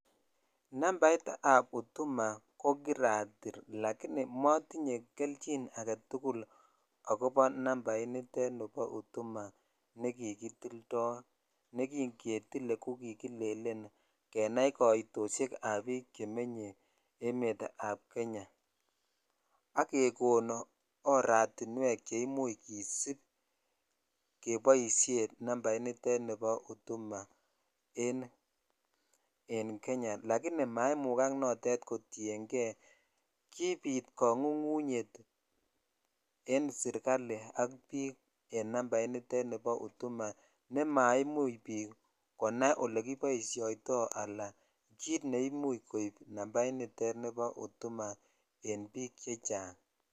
nambait ab huduma ko kiratiil lagini motinye kelchin agetugul akobo nambait niteet nebo huduma negigitildoo, negingetile ko kigilelen kenaii koitoshek ab biik chemenye emeet ab kenya ak kegonu oratinweek cheimuche kesuub keboisheen niteet nebo huduma en kenya, lakini maimugaak noteet kotiyengee kibiit kangungunyeet en serkaliit ak biik en nambaiit niteet nebo huduma nemaimuuch biik konai olekiboishoitoi anann kiit neimuch koib nambait niteet nebo huduma en biik chechang.